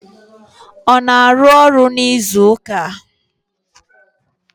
Ọ na-arụ ọrụ n'izuụka a?